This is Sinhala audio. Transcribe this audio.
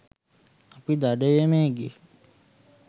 අපි දඩයමේ ගිහින්